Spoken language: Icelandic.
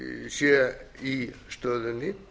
sé í stöðunni